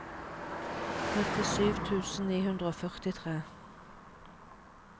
nittisju tusen ni hundre og førtitre